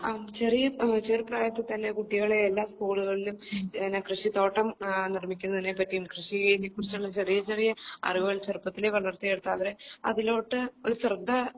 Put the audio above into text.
ആ ചെറിയ ചെറു പ്രായത്തിൽ തന്നെ കുട്ടികളെ എല്ലാ സ്കൂളുകളിലും പിന്നെ കൃഷിത്തോട്ടം നിർമ്മിക്കുന്നതിനെ പറ്റിയും കൃഷിയെ കുറിച്ചുള്ള ചെറിയ ചെറിയ അറിവുകൾ ചെറുപ്പത്തിലെ വളർത്തിയെടുത്തവരെ ഇതിലോട്ട് ഒരു ശ്രദ്ധ